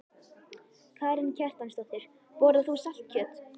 Karen Kjartansdóttir: Borðar þú saltkjöt?